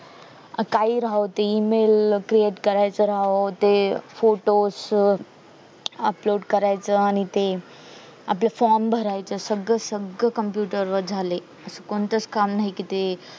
काही राहो ते email create करायचं राहो ते photo च upload करायचं आणि ते आपलं form भरायचं सगळं सगळं computer वर झालंय असं कोणताच काम नाही कि ते